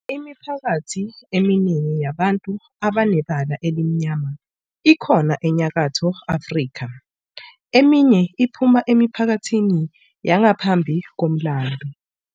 Imiphakathi eminingi yabantu abanebala elimnyama ikhona eNyakatho Afrika, eminye iphuma emiphakathini yangaphambi komlando.